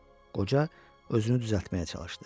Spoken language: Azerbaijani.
Qoca özünü düzəltməyə çalışdı.